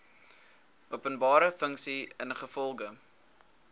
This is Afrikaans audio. openbare funksie ingevolge